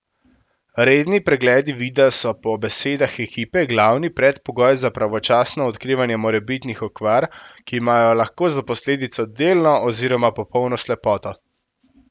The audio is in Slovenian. Redni pregledi vida so po besedah ekipe glavni predpogoj za pravočasno odkrivanje morebitnih okvar, ki imajo lahko za posledico delno oziroma popolno slepoto.